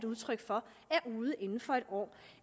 udtryk for er ude igen inden for et år